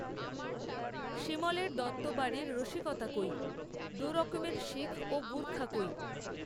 সিমলের দত্তবাড়ির রসিকতা কইদুরকমের শিখও গুর্খা কই